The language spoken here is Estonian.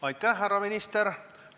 Aitäh, härra minister!